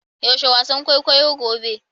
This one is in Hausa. Yaushe wasan kwaikwayo gobe?